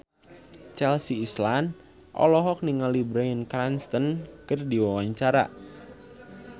Chelsea Islan olohok ningali Bryan Cranston keur diwawancara